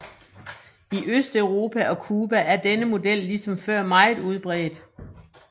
I Østeuropa og Cuba er denne model ligesom før meget udbredt